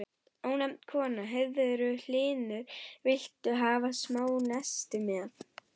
Ónefnd kona: Heyrðu Hlynur, viltu hafa smá nesti með?